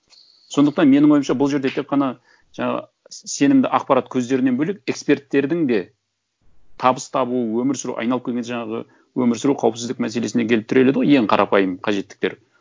сондықтан менің ойымша бұл жерде тек қана жаңағы сенімді ақпарат көздерінен бөлек эксперттердің де табыс табу өмір сүру айналып келгенде жаңағы өмір сүру қауіпсіздік мәселесіне келіп тіреледі ғой ең қарапайым қажеттіктер